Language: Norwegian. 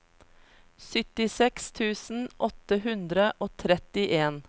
syttiseks tusen åtte hundre og trettien